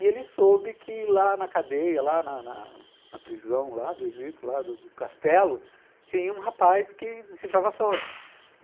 E ele soube que lá na cadeia, lá na na na prisão lá do Egito, lá do castelo, tinha um rapaz que decifrava sonhos.